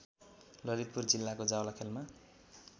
ललितपुर जिल्लाको जावलाखेलमा